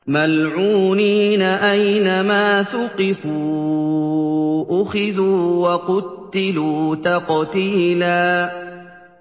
مَّلْعُونِينَ ۖ أَيْنَمَا ثُقِفُوا أُخِذُوا وَقُتِّلُوا تَقْتِيلًا